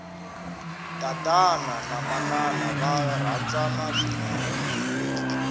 tatana na manana va rhandzana swinene